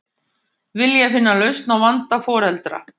Vilja finna lausn á vanda foreldra